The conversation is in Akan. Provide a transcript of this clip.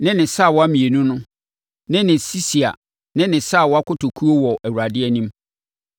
ne ne sawa mmienu no ne ne sisia ne ne sawa kotokuo wɔ Awurade anim.